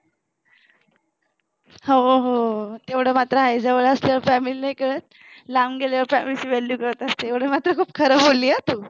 हो हो तेवढं मात्र आहे जवळ असल्यावर family नाही कळत लांब गेल्यावर family ची value कळत असते एवढं मात्र पण खरं बोलली हा तू